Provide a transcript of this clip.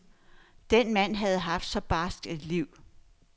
Den mand havde haft så barskt et liv.